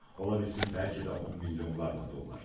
Ola bilsin bəlkə də 10 milyonlarla dollar.